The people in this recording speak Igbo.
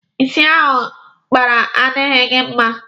Ịsị ahụ ị kpara adịghị gị mma.